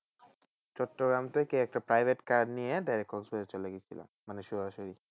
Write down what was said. চট্টগ্রাম থেকে একটা private car নিয়ে direct খোলসর চলে গিয়েছিলাম মানে সরাসরি